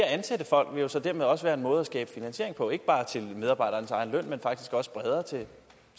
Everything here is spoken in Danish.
ansætte folk vil jo så dermed også være en måde at skabe finansiering på ikke bare til medarbejdernes egen løn men faktisk også bredere til